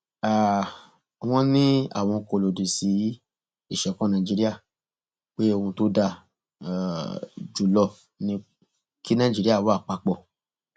um wọn ní àwọn kò lòdì sí ìṣọkan nàìjíríà pé ohun tó dáa um jù lọ ni kí nàìjíríà wà papọ